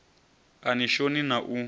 a ni shoni na u